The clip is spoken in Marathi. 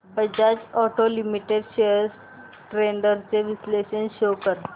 Bajaj Auto Limited shares trends चे विश्लेषण शो कर